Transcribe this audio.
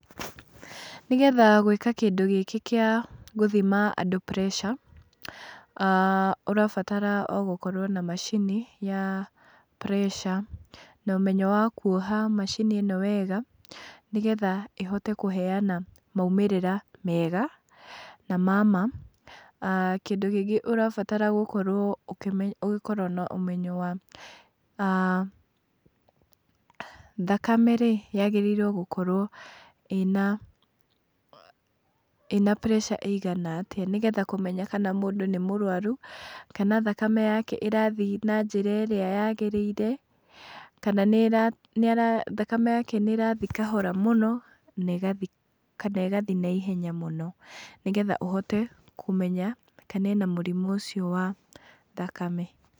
Nĩgetha gwĩka kĩndũ gĩkĩ gĩa gũthima andũ pressure, ũrabatara o gũkorwo na macini ya pressure, na ũmenyo wa kuoha macini ĩno wega nĩgetha ĩhote kũheana maumĩrĩra mega, na ma maa. Kĩndũ kĩngĩ ũrabatara gũkorwo ũkĩmenya, gũkorwo na ũmenyo wa, thakame rĩ, yagĩrĩirwo gukorwo ĩna pressure ĩigana atĩa, nĩgetha kũmenya kana mũndũ nĩ mũrwaru, kana thakame yake ĩrathiĩ na njĩra ĩrĩa yagĩrĩire, kana thakame yake nĩ ĩrathiĩ kahora mũno kana ĩgathiĩ naihenya mũno, nĩgetha ũhote kũmenya kana ena mũrimũ ũcio wa thakame.